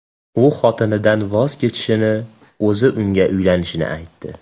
U xotinidan voz kechishini, o‘zi unga uylanishini aytdi.